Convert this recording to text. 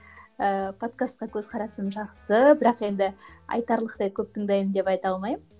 ыыы подкастқа көзқарасым жақсы бірақ енді айтарлықтай көп тыңдаймын деп айта алмаймын